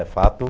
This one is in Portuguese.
É fato.